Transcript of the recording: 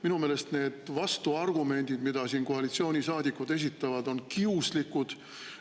Minu meelest need vastuargumendid, mida koalitsioonisaadikud siin esitavad, on kiuslikud.